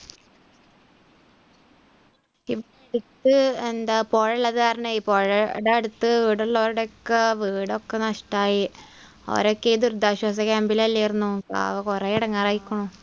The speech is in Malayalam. അടുത്ത് എന്താ പുഴയുള്ളത് കാരണമേ പുഴയുടെ അടുത്ത് ഇവിടുള്ളവരുടെഒക്കെ വീടൊക്കെ നഷ്ടമായി അവരൊക്കെ ഈ ദുരിതാശ്വാസ ക്യാമ്പിൽ അല്ലായിരുന്നോ പാവം, കുറെ ഇടങ്ങേർ ആയിരിക്കണു